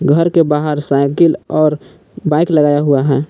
घर के बाहर साइकिल और बाइक लगाया हुआ है।